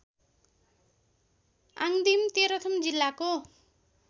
आङदिम तेह्रथुम जिल्लाको